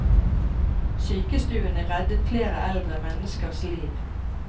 Sykestuene reddet flere eldre menneskers liv.